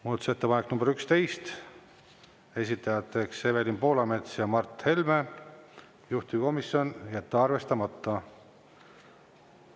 Muudatusettepanek nr 11, esitajad Evelin Poolamets ja Mart Helme, juhtivkomisjon: jätta arvestamata.